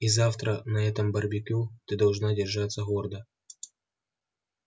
и завтра на этом барбекю ты должна держаться гордо